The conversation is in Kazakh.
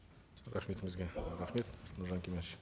рахметіңізге рахмет нұржан кемерович